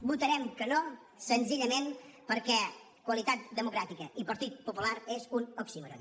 votarem que no senzillament perquè qualitat democràtica i partit popular és un oxímoron